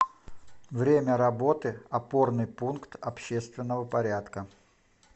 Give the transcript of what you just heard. время работы опорный пункт общественного порядка